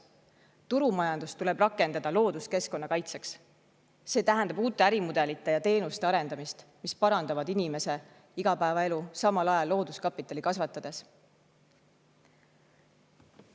Turumajandust tuleb rakendada looduskeskkonna kaitseks, see tähendab uute ärimudelite ja teenuste arendamist, mis parandavad inimese igapäevaelu, samal ajal looduskapitali kasvatades.